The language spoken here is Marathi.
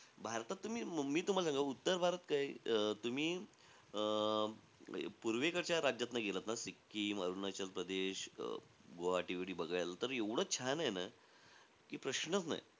भारतात तुम्ही मी तुम्हाला सांगा. उत्तर भारत काय, अं तुम्ही अं म्हणजे पूर्वेकडच्या राज्यातनं गेलात ना सिक्कीम, अरुणाचल प्रदेश अं गुवाहाटी बीटी बघायला, त एवढं छान आहे ना.